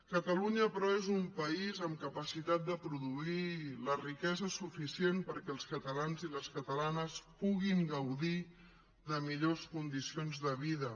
catalunya però és un país amb capacitat de produir la riquesa suficient perquè els catalans i les catalanes puguin gaudir de millors condicions de vida